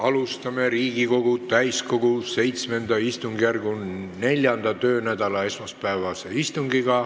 Alustame Riigikogu täiskogu VII istungjärgu 4. töönädala esmaspäevast istungit.